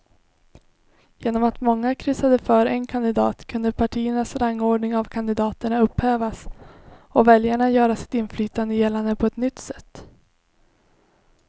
Genom att många kryssade för en kandidat kunde partiernas rangordning av kandidaterna upphävas och väljarna göra sitt inflytande gällande på ett nytt sätt.